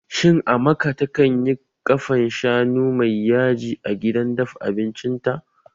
Shin Amaka takanyi ƙafan shanu mai yaji a gidan dafa abincin ta?